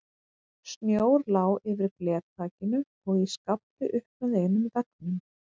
Snjór lá yfir glerþakinu og í skafli upp með einum veggnum.